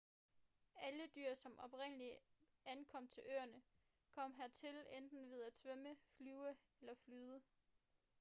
alle dyr som oprindeligt ankom til øerne kom hertil enten ved at svømme flyve eller flyde